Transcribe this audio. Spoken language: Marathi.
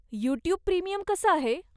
यूट्यूब प्रीमियम कसं आहे?